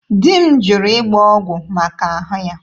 Di m jụrụ ịgba ọgwụ maka ahụ ya.